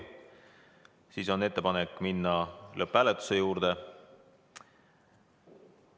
Siis on ettepanek minna lõpphääletuse juurde.